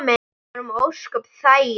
Við vorum ósköp þægir.